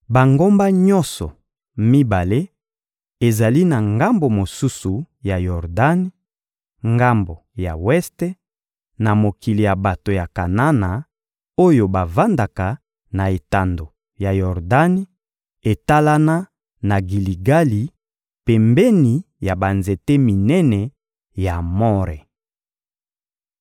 Bangomba nyonso mibale ezali na ngambo mosusu ya Yordani, ngambo ya weste, na mokili ya bato ya Kanana oyo bavandaka na etando ya Yordani, etalana na Giligali, pembeni ya banzete minene ya More.